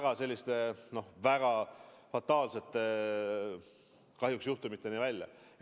Kahjuks läks asi väga selliste fataalsete juhtumiteni välja.